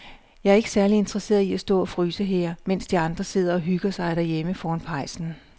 Jeg er ikke særlig interesseret i at stå og fryse her, mens de andre sidder og hygger sig derhjemme foran pejsen.